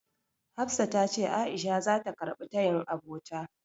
Hafsat tace A'isha zata karɓi tayin abota.